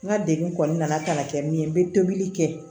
N ka degun kɔni nana ka na kɛ min ye n be tobili kɛ